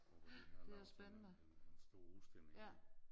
Og hvor de har lavet sådan en en stor udstilling